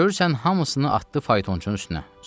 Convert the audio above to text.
Görürsən hamısını atdı faytonçunun üstünə.